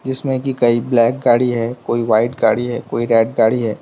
इसमें कि कई ब्लैक गाड़ी है कोई व्हाइट गाड़ी हैं कोई रेड गाड़ी हैं।